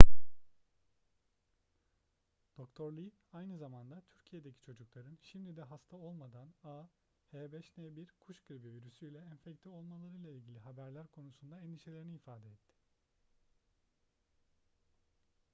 dr. lee aynı zamanda türkiye'deki çocukların şimdi de hasta olmadan ah5n1 kuş gribi virüsüyle enfekte olmalarıyla ilgili haberler konusunda endişelerini ifade etti